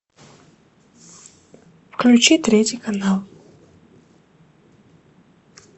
включи третий канал